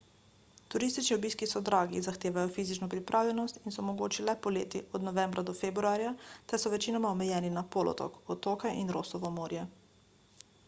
turistični obiski so dragi zahtevajo fizično pripravljenost in so mogoči le poleti od novembra do februarja ter so večinoma omejeni na polotok otoke in rossovo morje